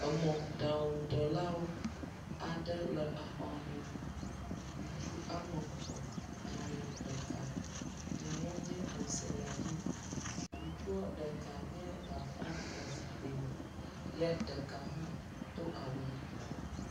Emɔɖaŋudelawo aɖe le xɔ me. Ŋutsu ame tɔ̃, nyanuɔ nye mɔselemi, ŋutsuɔ ɖeka nye bafa nɔ zikpui me ye ɖeka hã do awu yibɔɔ.